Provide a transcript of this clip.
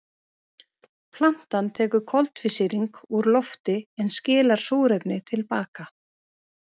Plantan tekur koltvísýring úr lofti en skilar súrefni til baka.